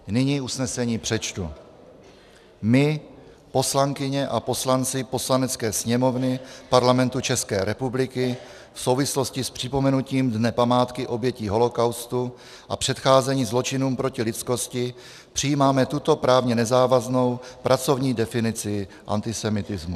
Nyní usnesení přečtu: "My, poslankyně a poslanci Poslanecké sněmovny Parlamentu České republiky, v souvislosti s připomenutím Dne památky obětí holocaustu a předcházení zločinům proti lidskosti přijímáme tuto právně nezávaznou pracovní definici antisemitismu.